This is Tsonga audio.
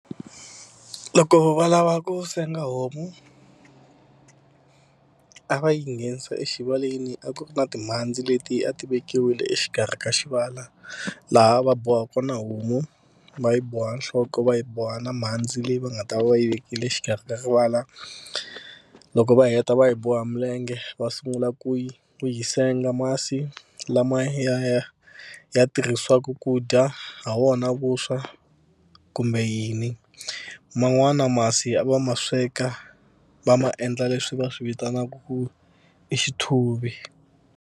Loko va lava ku senga homu a va yi nghenisa exivaleni a ku ri na timhandzi leti a ti vekiwile exikarhi ka xivala laha va boha kona homu va yi boha nhloko va yi boha na mhandzi leyi va nga ta va yi vekile exikarhi ka rivala. Loko va heta va yi boha milenge va sungula ku yi ku yi senga masi lama ya ya ya tirhisiwaka ku dya ha wona vuswa kumbe yini man'wana masi a va ma sweka va ma endla leswi va swi vitanaka ku i xithuvi.